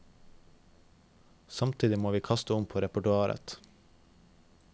Samtidig må vi kaste om på repertoaret.